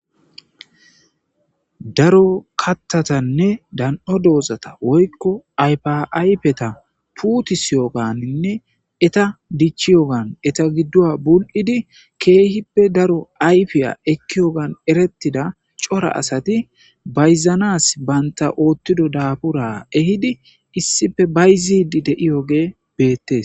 Daro kattatanne dan,o doozata woykko aypiaypeta puutusyoganinne eta dichi yogan eta giddoa bul7idi keehippe daro ayfiya ekki yogan erettida cora asati bayzanas banta oottido daabura ehidi issife bayzidi de7iyoge beettes.